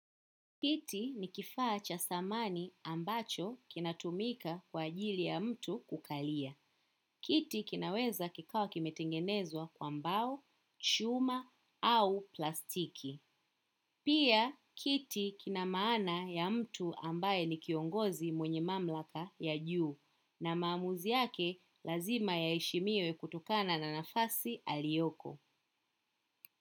Kiti ni kifaa cha samani ambacho kinatumika kwa ajili ya mtu kukalia. Kiti kinaweza kikawa kimetengenezwa kwa mbao, chuma au plastiki. Pia, kiti kina maana ya mtu ambaye ni kiongozi mwenye mamlaka ya juu na maamuzi yake lazima yaheshimiwe kutokana na nafasi alioko.